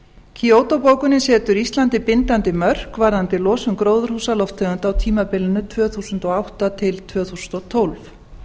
kyoto bókunin setur íslandi bindandi mörk varðandi losun gróðurhúsalofttegunda á tímabilinu tvö þúsund og átta til tvö þúsund og tólf